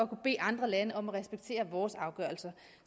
bede andre lande om at respektere vores afgørelser